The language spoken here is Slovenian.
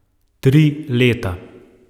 Tri leta.